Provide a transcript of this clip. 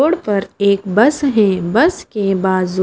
road पर एक bus है बस के बाजु--